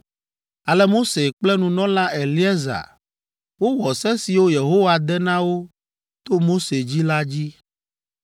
Ale Mose kple nunɔla Eleazar wowɔ se siwo Yehowa de na wo to Mose dzi la dzi.